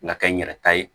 Ŋa kɛ n yɛrɛ ta ye